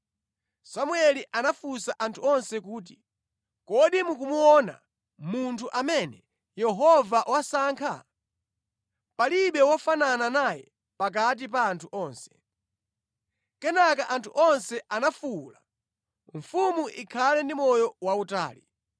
Samueli anafunsa anthu onse kuti, “Kodi mukumuona munthu amene Yehova wasankha? Palibe wofanana naye pakati pa anthu onse.” Kenaka anthu onse anafuwula kuti, “Mfumu ikhale ndi moyo wautali!”